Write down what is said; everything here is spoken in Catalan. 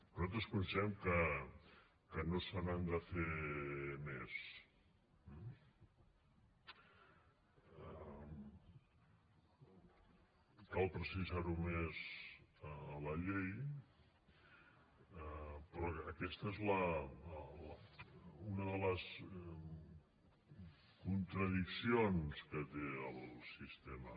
nosaltres considerem que no se n’han de fer més eh cal precisar ho més a la llei però aquesta és una de les contradiccions que té el sistema